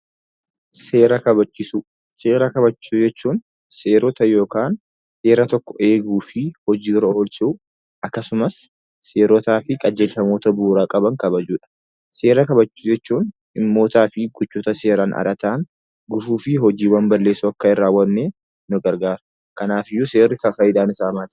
Seera kabachiisuu jechuun seerota yookaan seera tokko eeguu fi hojiirra oolchuu akkasumas seerotaa fi qajeelfamoota bu'uura qaban kabajuudha. Seera kabajuu jechuun dhimmootaa fi gochoota seeraan ala ta'an, gufuu fi hojiiwwan balleessoo akka hin raawwanneef nu gargaaara. Kanaafuu seera kabajuun faayidaan isaa maali?